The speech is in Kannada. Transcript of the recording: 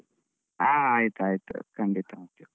ಹಾ. ಆಯ್ತು ಆಯ್ತು ಖಂಡಿತಾ